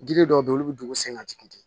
Giri dɔw be yen olu bi dugu sen ka jigin ten